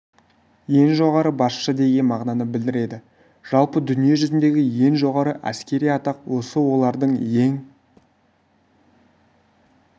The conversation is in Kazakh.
ең жоғары басшы деген мағынаны білдіреді жалпы дүние жүзіндегі ең жоғары әскери атақ осы олардың ең